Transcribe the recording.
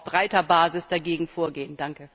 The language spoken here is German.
Wir müssen auf breiter Basis dagegen vorgehen!